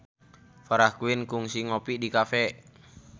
Farah Quinn kungsi ngopi di cafe